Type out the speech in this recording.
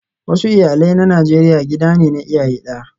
Wasu iyalai na Najeriya gida ne na iyaye daya